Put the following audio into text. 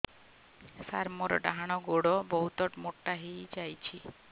ସାର ମୋର ଡାହାଣ ଗୋଡୋ ବହୁତ ମୋଟା ହେଇଯାଇଛି